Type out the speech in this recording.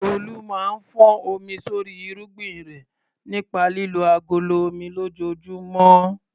Olu máa ń fọ́n omi sórí irúgbìn rẹ̀ nípa lílo agolo omi lójoojúmọ́.